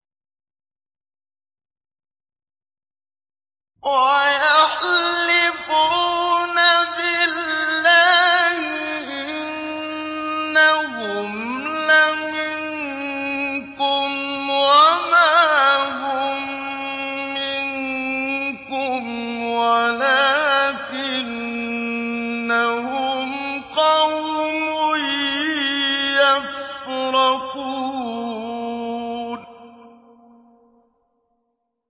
وَيَحْلِفُونَ بِاللَّهِ إِنَّهُمْ لَمِنكُمْ وَمَا هُم مِّنكُمْ وَلَٰكِنَّهُمْ قَوْمٌ يَفْرَقُونَ